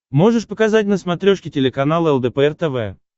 можешь показать на смотрешке телеканал лдпр тв